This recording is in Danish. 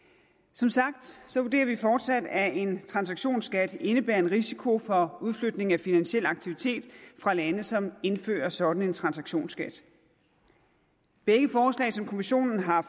som sagt vurderer vi fortsat at en transaktionsskat indebærer en risiko for udflytning af finansiel aktivitet fra lande som indfører en sådan transaktionsskat begge forslag som kommissionen har